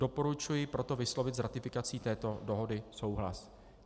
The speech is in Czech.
Doporučuji proto vyslovit s ratifikací této dohody souhlas.